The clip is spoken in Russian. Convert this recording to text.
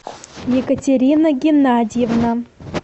екатерина геннадьевна